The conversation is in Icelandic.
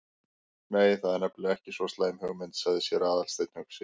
Nei, það er nefnilega ekki svo slæm hugmynd- sagði séra Aðalsteinn hugsi.